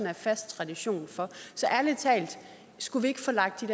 er fast tradition for så ærlig talt skulle vi ikke få lagt